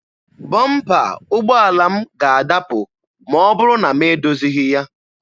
Bọmpa ụgbọala m ga-adapụ ma ọ bụrụ na m edozighị ya.